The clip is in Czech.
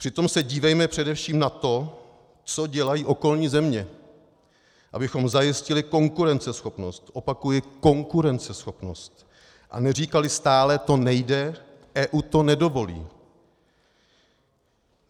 Přitom se dívejme především na to, co dělají okolní země, abychom zajistili konkurenceschopnost - opakuji konkurenceschopnost - a neříkali stále: to nejde, EU to nedovolí.